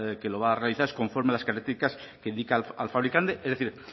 que lo va a realizar es conforme a las características que indica el fabricante es decir